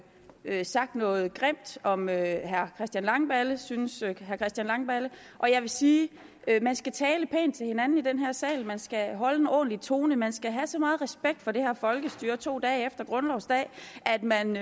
har sagt noget grimt om herre christian langballe synes herre christian langballe og jeg vil sige at man skal tale pænt til hinanden i den her sal man skal holde en ordentlig tone man skal have så meget respekt for det her folkestyre her to dage efter grundlovsdag at man